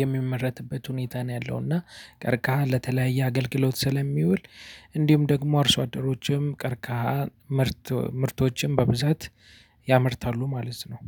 የሚመረትበት ሁኔታ ነው ያለው። እና ቀርካሃ ለተለያየ አገልግሎት ስለሚውል እንዲሁም ደግሞ አርሶ አደሮችም ቀርካሃ ምርት ምርቶችን በብዛት ያመርታሉ ማለት ነው